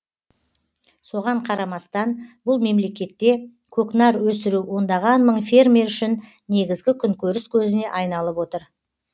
соған қарамастан бұл мемлекетте көкнар өсіру ондаған мың фермер үшін негізгі күнкөріс көзіне айналып отыр